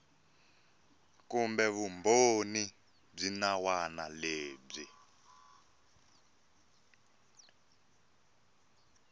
kumbe vumbhoni byin wana lebyi